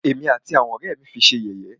Ẹ̀mí àti àwọn ọ̀rẹ́ ẹ́ mí fi ṣé yẹ̀yẹ́.